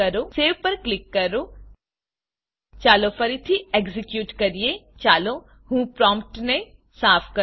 સેવ પર ક્લિક કરો ચાલો ફરીથી એક્ઝેક્યુટ કરીએ હું પ્રોમ્પ્ટને સાફ કરું